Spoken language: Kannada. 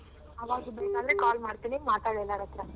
ಆವಾಗ ಬೇಕಾದರೆ call ಮಾಡ್ತೀನಿ ಮಾತಾಡ್ ಎಲ್ಲಾರತ್ರ.